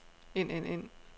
ind ind ind